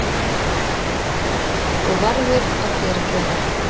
Þú verður að fyrirgefa.